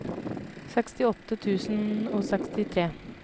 sekstiåtte tusen og sekstitre